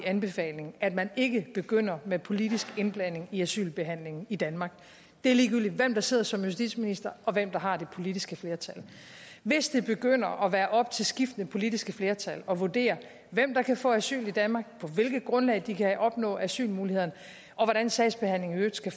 anbefaling at man ikke begynder med politisk indblanding i asylbehandlingen i danmark og det er ligegyldigt hvem der sidder som justitsminister og hvem der har det politiske flertal hvis det begynder at være op til skiftende politiske flertal at vurdere hvem der kan få asyl i danmark på hvilket grundlag de kan opnå asylmulighederne og hvordan sagsbehandlingen i øvrigt skal